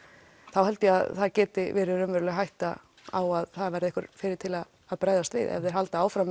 þá held ég að það geti verið raunveruleg hætta á að það verði einhver fyrri til að bregðast við ef þeir halda áfram